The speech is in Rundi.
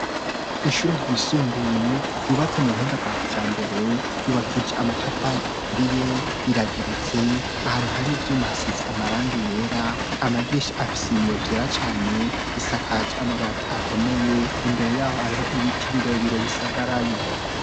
Ishure ryisumbuye yubatse mu buhinga bwa kijambere, yubakije amatafari aturiye rirageretse, ahantu hari ivyuma hasize amarangi yera, amadirisha afise ibiyo vyera cane, isakaje amabati akomeye imbere yaho hariho ibiti birebire bisagaraye.